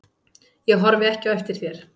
Ég horfi ekki eftir þér.